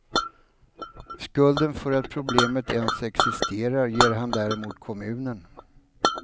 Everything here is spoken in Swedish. Skulden för att problemet ens existerar ger han däremot kommunen.